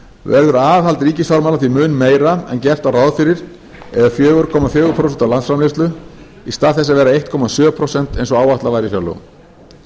verður aðhald ríkisfjármála því mun meira en gert var ráð fyrir eða fjögur komma fjögur prósent af landsframleiðslu í stað þess að vera einn komma sjö prósent eins og áætlað var í fjárlögum